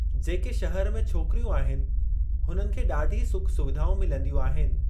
जेके शहरु में छोकिरियूं आहिनि, हुननि खे ॾाढी सुख सुविधाऊं मिलंदियूं आहिनि।